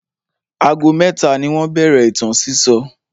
Ago mẹ́ta ni wọ́n bẹ̀rẹ̀ ìtàn sísọ.